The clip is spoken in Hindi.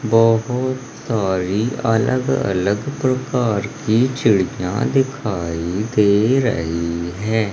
बोहोत सारी अलग-अलग प्रकार की चिड़ियां दिखाई दे रही हैं।